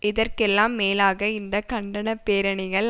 இதற்கெல்லாம் மேலாக இந்த கண்டன பேரணிகள்